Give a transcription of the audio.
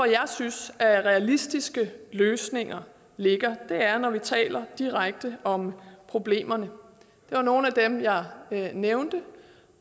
jeg synes at realistiske løsninger ligger er når vi taler direkte om problemerne det var nogle af dem jeg nævnte